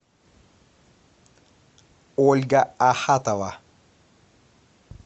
ольга ахатова